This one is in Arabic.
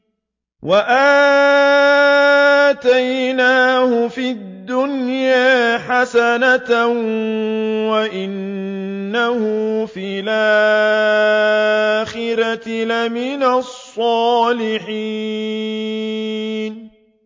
وَآتَيْنَاهُ فِي الدُّنْيَا حَسَنَةً ۖ وَإِنَّهُ فِي الْآخِرَةِ لَمِنَ الصَّالِحِينَ